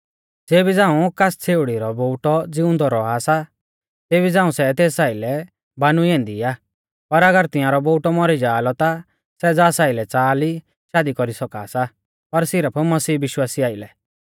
ज़ेबी झ़ांऊ कास छ़ेउड़ी रौ बोउटौ ज़िउंदौ रौआ सा तेबी झ़ांऊ सै तेस आइलै बानुई ऐन्दी आ पर अगर तिंआरौ बोउटौ मौरी जाआ लौ ता सै ज़ास आइलै च़ाहा ली शादी कौरी सौका सा पर सिरफ मसीह विश्वासी आइलै